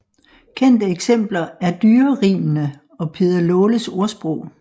Kendte eksempler er Dyrerimene og Peder Laales ordsprog